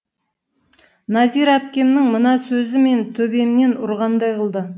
нәзира әпкемнің мына сөзі мені төбемнен ұрғандай қылды